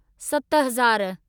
सतहज़ार